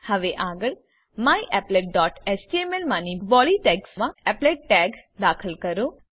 હવે આગળ myapplet dot HTML માની બોડી ટેગ્સમા એપ્લેટ ટેગ દાખલ કરો